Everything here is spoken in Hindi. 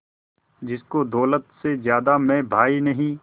जिसको दौलत से ज्यादा मैं भाई नहीं